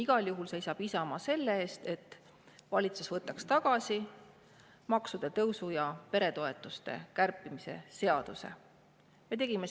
Igal juhul seisab Isamaa selle eest, et valitsus võtaks tagasi maksude tõusu ja peretoetuste kärpimise.